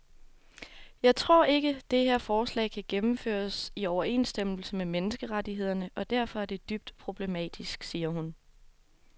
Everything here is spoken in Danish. Jeg tror ikke, det her forslag kan gennemføres i overensstemmelse med menneskerettighederne og derfor er det dybt problematisk, siger hun.